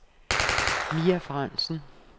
Mia Frandsen